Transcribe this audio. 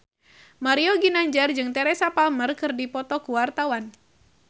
Mario Ginanjar jeung Teresa Palmer keur dipoto ku wartawan